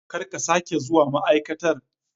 Kar ka sake zuwa ma'aikatar!